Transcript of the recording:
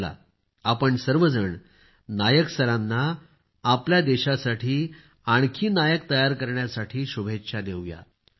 चला आपण सर्वजण नायक सरांना आपल्या देशासाठी आणखी नायक तयार करण्यासाठी शुभेच्छा देऊया